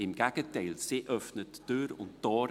Im Gegenteil: Sie öffnet Tür und Tor.